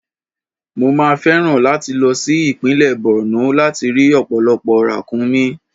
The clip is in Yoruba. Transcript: Mo máa fẹ́ràn láti lọ sí ìpínlẹ̀ Borno láti rí ọ̀pọ̀lọpọ̀ ràkúnmí.